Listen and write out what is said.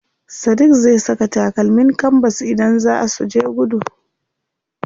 Sadiq zai saka takalmin kanbas idan zaa suje gudu.